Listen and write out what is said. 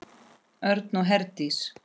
Örn og Herdís.